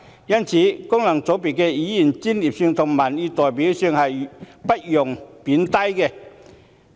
因此，功能界別議員的專業性和民意代表性是不容貶低的。